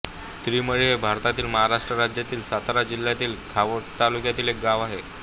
त्रिमळी हे भारतातील महाराष्ट्र राज्यातील सातारा जिल्ह्यातील खटाव तालुक्यातील एक गाव आहे